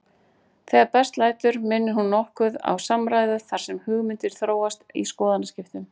Þegar best lætur minnir hún nokkuð á samræðu þar sem hugmyndir þróast í skoðanaskiptum.